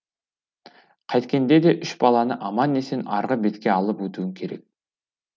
қайткенде де үш баланы аман есен арғы бетке алып өтуім керек